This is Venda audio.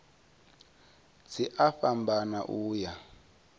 dzi a fhambana u ya